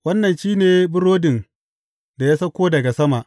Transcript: Wannan shi ne burodin da ya sauko daga sama.